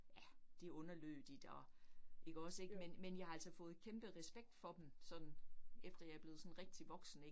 Ja det underlødigt og ikke også ik men men jeg har altså fået kæmpe respekt for dem sådan efter jeg er blevet sådan rigtig voksen ik